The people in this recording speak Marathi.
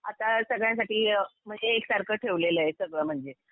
आता सगळ्यांसाठी म्हणजे एकसारखं ठेवलेलं आहे सगळं म्हणजे